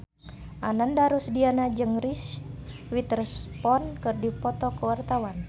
Ananda Rusdiana jeung Reese Witherspoon keur dipoto ku wartawan